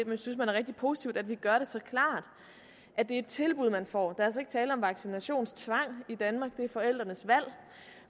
rigtig positivt nemlig at vi gør det så klart at det er et tilbud man får der er ikke tale om vaccinationstvang i danmark det er forældrenes valg